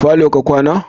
A falo ka kwana?